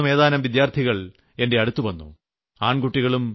അലിഗഡിൽ നിന്ന് ഏതാനും വിദ്യാർത്ഥികൾ എന്റെ അടുത്തുവന്നു